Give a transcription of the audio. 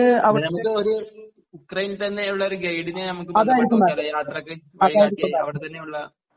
നമുക്ക് ഒരു യുക്രൈനിൽ തന്നെ ഉള്ള ഒരു ഗൈഡിനെ ഞമ്മക്ക് നോക്കിയാല് യാത്രയ്ക്ക് അവിടെ തന്നെ ഉള്ള